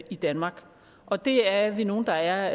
i danmark og det er vi nogle der er